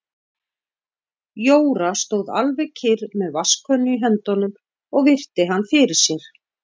Jóra stóð alveg kyrr með vatnskönnu í höndunum og virti hann fyrir sér.